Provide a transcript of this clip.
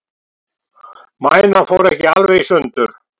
Mænan fór ekki alveg í sundur